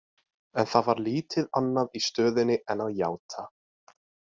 En það var lítið annað í stöðunni en að játa.